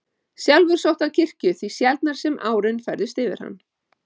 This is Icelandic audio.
Sjálfur sótti hann kirkju því sjaldnar sem árin færðust yfir hann.